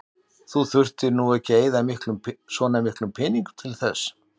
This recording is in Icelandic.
Þú þurftir nú ekki að eyða svona miklum peningum til þess.